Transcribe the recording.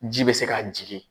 Ji bɛ se ka jigin.